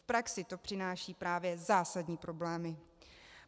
V praxi to přináší právě zásadní problémy.